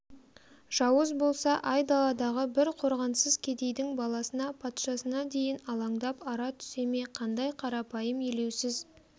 жауыз болса айдаладағы бір қорғансыз кедейдің баласына патшасына дейін алаңдап ара түсе ме қандай қарапайым елеусіз